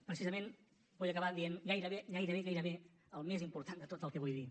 precisament vull acabar dient gairebé gairebé gairebé el més important de tot el que vull dir